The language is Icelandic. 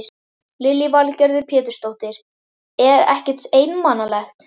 Lillý Valgerður Pétursdóttir: Er ekkert einmanalegt?